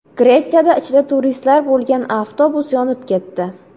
Gretsiyada ichida turistlar bo‘lgan avtobus yonib ketdi .